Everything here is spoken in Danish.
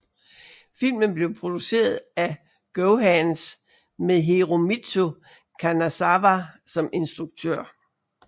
Filmen blev produceret af GoHands med Hiromitsu Kanazawa som instruktør